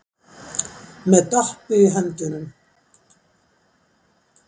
Með Doppu í höndunum.